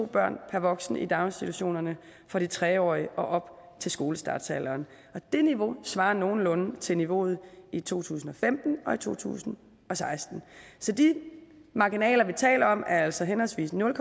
børn per voksen i daginstitutionerne for de tre årige og op til skolestartsalderen det niveau svarer nogenlunde til niveauet i to tusind og femten og to tusind og seksten så de marginaler vi taler om er altså henholdsvis nul